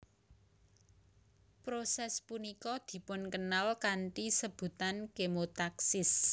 Proses punika dipunkenal kanthi sebutan kemotaksis